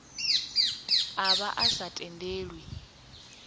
a vha a sa tendelwi